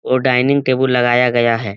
और dining table लगाया गया है।